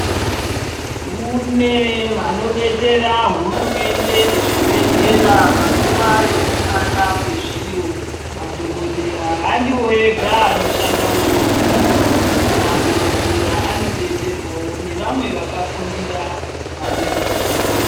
Kune vanodetsera hurumende nezvibhehlera panguwa yekushata kwezviro madhokodheya handiwo ega anoshanda muzvipatara ,madhokodheya anodetserwayo nevamwe vakafundira vaneruzivo.